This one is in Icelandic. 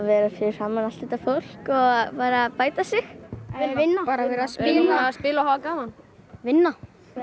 vera fyrir framan allt þetta fólk og bæta sig vinna spila og hafa gaman vinna